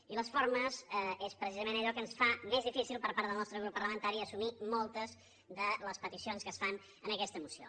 i les formes són precisament allò que ens fa més difícil per part del nostre grup parlamentari assumir moltes de les peticions que es fan en aquesta moció